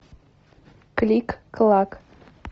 клик клак